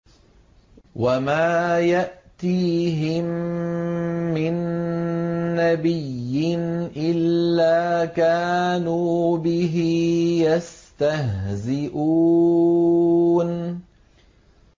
وَمَا يَأْتِيهِم مِّن نَّبِيٍّ إِلَّا كَانُوا بِهِ يَسْتَهْزِئُونَ